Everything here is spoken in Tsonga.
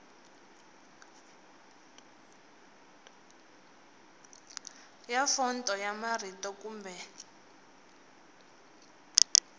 ya fonto ya marito kumbe